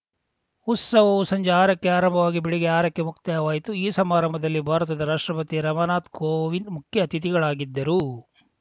ಉತ್ಸವವು ಸಂಜೆ ಆರ ಕ್ಕೆ ಆರಂಭವಾಗಿ ಬೆಳಿಗ್ಗೆ ಆರ ಕ್ಕೆ ಮುಕ್ತಾಯವಾಯಿತು ಈ ಸಮಾರಂಭದಲ್ಲಿ ಭಾರತದ ರಾಷ್ಟ್ರಪತಿ ರಾಮನಾಥ್‌ ಕೋವಿಂದ್‌ ಮುಖ್ಯ ಅತಿಥಿಗಳಾಗಿದ್ದರು